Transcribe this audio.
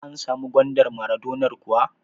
An samu gwandar maradonar kuwa?